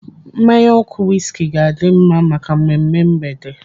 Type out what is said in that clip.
Mmanya ọkụ wiski ga-adi mma maka mmemme mgbede.